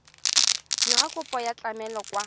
dira kopo ya tlamelo kwa